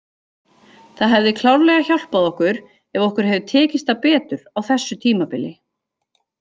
Það hefði klárlega hjálpað okkur ef okkur hefði tekist það betur á þessu tímabili.